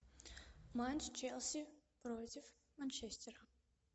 матч челси против манчестера